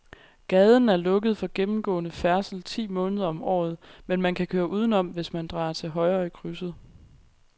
Gaden er lukket for gennemgående færdsel ti måneder om året, men man kan køre udenom, hvis man drejer til højre i krydset.